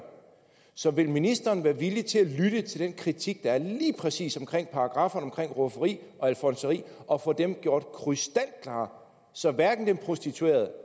så vil ministeren være villig til at lytte til den kritik der er af lige præcis paragrafferne om rufferi og alfonseri og få dem gjort krystalklare så hverken de prostituerede